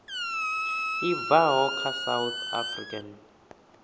i bvaho kha south african